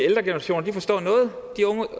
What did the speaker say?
ældre generationer forstår noget